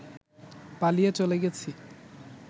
পালিয়ে চলে গেছি